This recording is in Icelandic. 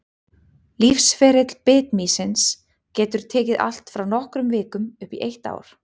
Lífsferill bitmýsins getur tekið allt frá nokkrum vikum upp í eitt ár.